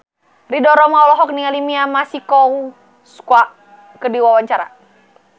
Ridho Roma olohok ningali Mia Masikowska keur diwawancara